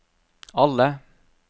alle